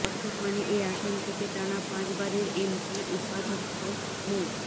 বর্তমানে এ আসন থেকে টানা পাঁচবারের এমপি উপাধ্যক্ষ মো